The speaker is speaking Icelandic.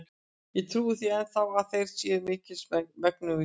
Og ég trúi því enn þá, að þér séuð mikils megnugur.